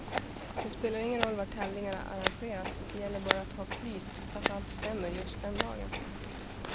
Det spelar ingen roll var tävlingarna arrangeras, det gäller bara att ha flyt, att allt stämmer just den dagen.